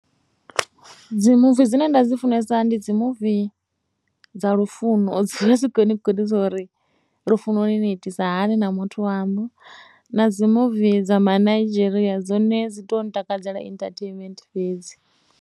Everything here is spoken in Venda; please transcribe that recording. Dzi muvi dzine nda dzi funesa ndi dzi muvi dza lufuno, dzi vha dzi khou ni gudisa uri lufunoni ni itisa hani na muthu waṋu, na dzi muvi dza ma Nigeria dzone dzi tou nṱakadzela entertainment fhedzi.